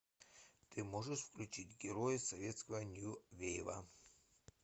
ты можешь включить герои советского нью вейва